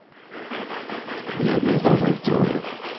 Vi er med for femte året.